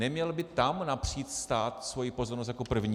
Neměl by tam napřít stát svoji pozornost jako první?